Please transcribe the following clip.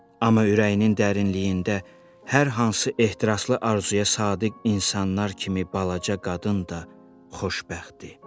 Amma ürəyinin dərinliyində hər hansı ehtiraslı arzuya sadiq insanlar kimi balaca qadın da xoşbəxtdi.